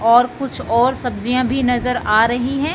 और कुछ और सब्जियां भी नजर आ रही हैं।